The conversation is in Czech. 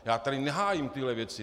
Já tady nehájím tyhle věci.